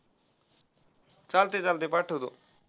चालतय चालतय पाठवतो.